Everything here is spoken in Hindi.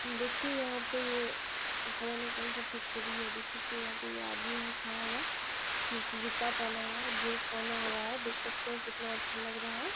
देखिए यहाँ पे ये पता नहीं कौन-सा फैक्टरी है| देख सकते हैं यहाँ पे ये आदमी है खड़ा हुआ नीचे जुत्ता पहना हुआ है जीन्स पहना हुआ है देख सकते हैं कितना अच्छा लग रहा है।